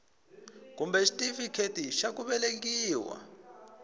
kumbe xitifiketi xa ku velekiwa